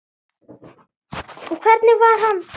Og hvernig var hann?